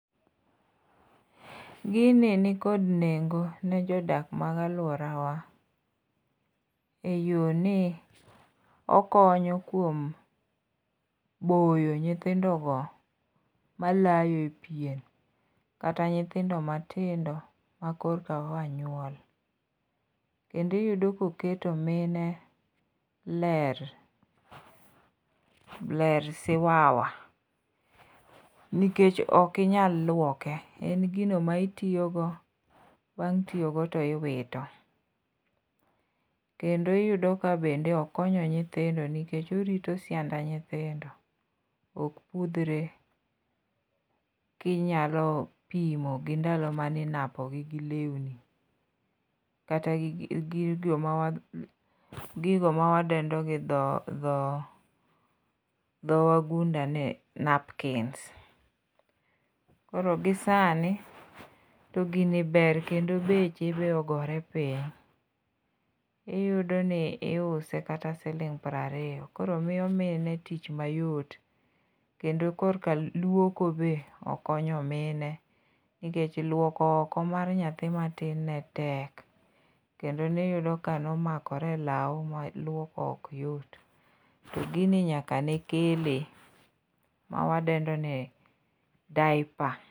Gini nikod nengo ne jodak mag alwora wa. E yo ni, okonyo kuom boyo nyithindo go malayo e pien. Kata nyithindo matindo ma korka oya nyuol. Kendo iyudo ka oketo mine ler. Ler siwaya. Nikech ok inyal luoke, en gino ma itiyogo, bang' tiyogo to iwito. Kendo iyudo ka bende okonyo nyithindo nikech orito sienda nyithindo ok pudhre. Kinyalo pimo gi ndalo mane inapo gi gi lewni, kata gi gigo mawa gigo ma wadendo gi dho, dho, dho wagunda ni napkins. Koro gi sani to gini ber, kendo beche, be ogore piny. Iyudo ni iuse kata siling piero ariyo. Koro miyo mine tich mayot. Kendo korka luoko be okonyo mine. Nikech, luoko oko mar nyathi matin ne tek. Kendo ne iyudo ka ne omakore e lau ma lwoko ok yot. To gini nyaka ne kele ma wadendo ni diaper